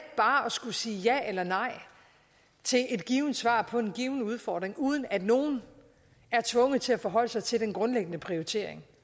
bare at skulle sige ja eller nej til et givent svar på en given udfordring uden at nogen er tvunget til at forholde sig til den grundlæggende prioritering